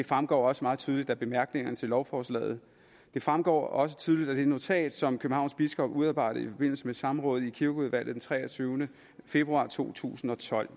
fremgår også meget tydeligt af bemærkningerne til lovforslaget det fremgår også tydeligt af det notat som københavns biskop udarbejdede i forbindelse med samrådet i kirkeudvalget den treogtyvende februar to tusind og tolv